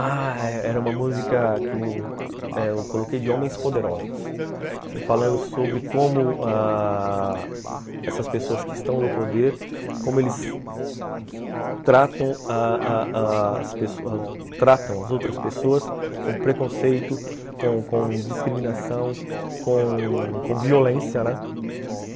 Ah, era uma música que eu eh eu coloquei de homens poderosos, ãh, falando sobre como ãh... essas pessoas que estão no poder, como eles tratam ah ah ah as outras pessoas com preconceito, com discriminação, com com violência, né?